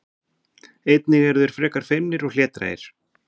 Einnig eru þeir frekar feimnir og hlédrægir.